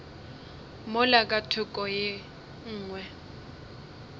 mola ka thoko ye nngwe